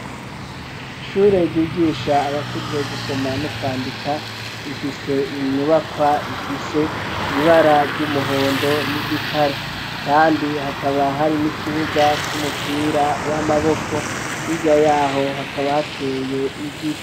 Ishure ryigisha abakuze gusoma no kwandika ifise inyubakwa ifise ibara ry'umuhondo n'igitare kandi hakaba hari n'ikibuga c'umupira w'amaboko hirya yaho hakaba hateye igiti.